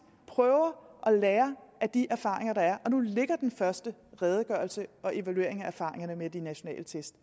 prøver at lære af de erfaringer der er og nu ligger den første redegørelse og evaluering af erfaringerne med de nationale test